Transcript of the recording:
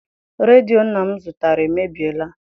Redio nna m zụtara emebiela.